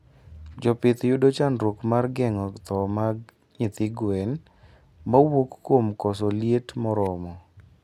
Jopith yudo chandruok mar gengo thoo mag nyithi gwen mawuok kuom koso liet moromo